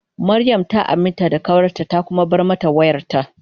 Mariam ta aminta da kawarta ta kuma bar mata wayarta.